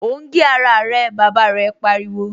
O ń gé ara rẹ! Bàbá rẹ̀ pariwo